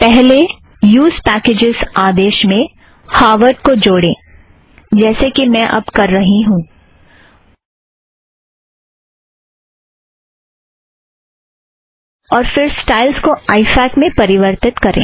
पहले use packages आदेश में हावर्ड़ को जोड़ें जैसे कि मैं अब कर रही हूँ और फ़िर स्टाइल को आइ फ़ॅक में परिवर्तित करें